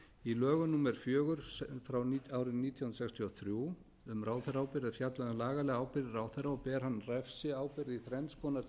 í lögum númer fjögur nítján hundruð sextíu og þrjú um ráðherraábyrgð er fjallað um lagalega ábyrgð ráðherra og ber hann refsiábyrgð í þrenns konar